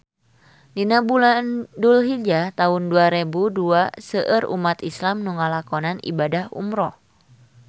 Dina bulan Dulhijah taun dua rebu dua seueur umat islam nu ngalakonan ibadah umrah